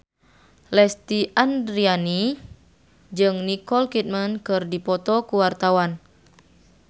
Lesti Andryani jeung Nicole Kidman keur dipoto ku wartawan